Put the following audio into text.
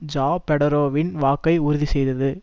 ஜாபெடரோவின் வாக்கை உறுதி செய்தது